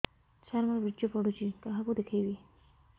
ସାର ମୋର ବୀର୍ଯ୍ୟ ପଢ଼ୁଛି କାହାକୁ ଦେଖେଇବି